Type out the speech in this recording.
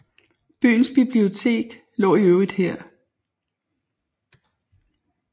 Byens bibliotek lå i øvrigt her